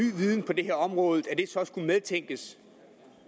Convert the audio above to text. viden på det her område skulle den medtænkes og